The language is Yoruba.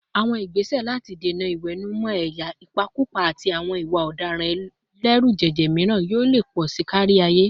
Àwọn ìgbésẹ̀ láti dènà ìwẹ̀nùmọ́ ẹ̀yà, ìpakúpa, àti àwọn ìwà ọ̀daràn ẹlẹ́rùjẹ̀jẹ̀ míràn yóò lè pọ̀ sí i kárí ayé.